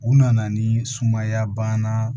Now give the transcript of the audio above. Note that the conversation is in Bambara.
U nana ni sumaya banna